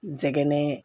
N sɛgɛn